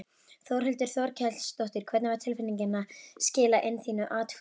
Þórhildur Þorkelsdóttir: Hvernig var tilfinningin að skila inn þínu atkvæði?